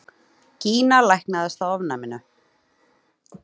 Gína læknaðist af ofnæminu!